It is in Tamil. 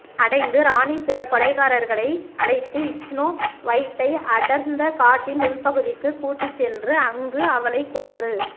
அடைந்து ராணி சில கொலைகாரர்களை அழைத்து இச்னோ வொய்ட்டை அடர்ந்த காட்டின் உள்பகுதிக்கு கூட்டிச் சென்று அங்க்கு அவளை கொன்று